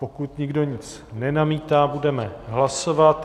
Pokud nikdo nic nenamítá, budeme hlasovat.